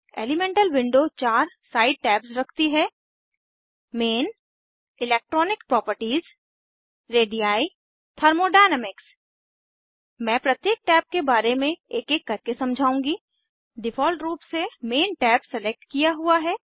elemental window चार side tabs रखती है main electronic properties radii thermodynamics मैं प्रत्येक टैब के बारे में एक एक करके समझाऊंगी डिफ़ॉल्ट रूप से मेन टैब सलेक्ट किया हुआ है